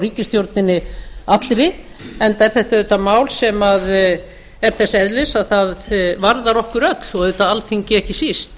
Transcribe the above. ríkisstjórninni allri enda er þetta auðvitað mál sem er þess eðlis að það varðar okkur öll og auðvitað alþingi ekki síst